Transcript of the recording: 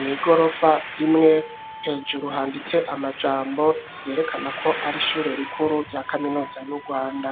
nigorofa imwe hejuru handitse amajambo yerekana ko ari ishure rikuru rya kaminuza yu rwanda.